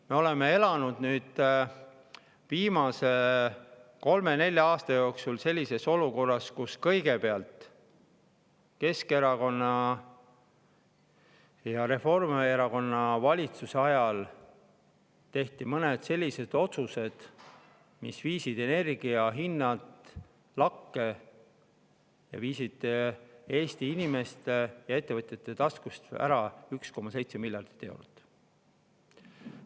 Me oleme elanud viimased kolm või neli aastat sellises olukorras, kus kõigepealt tehti Keskerakonna ja Reformierakonna valitsuse ajal mõned sellised otsused, mis viisid energiahinnad lakke ning võtsid Eesti inimeste ja ettevõtjate taskust ära 1,7 miljardit eurot.